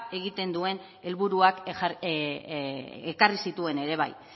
egiten duen helburuak ekarri zituen ere bai